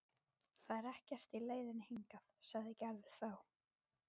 Það er ekkert í leiðinni hingað, sagði Gerður þá.